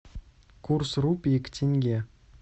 курс рупий к тенге